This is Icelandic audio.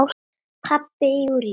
Pabbi Júlíu?